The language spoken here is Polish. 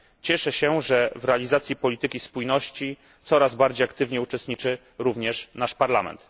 Cieszę się, że w realizacji polityki spójności coraz bardziej aktywnie uczestniczy również nasz Parlament.